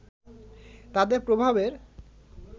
তাদের প্রভাবের